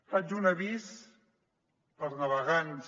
faig un avís per a navegants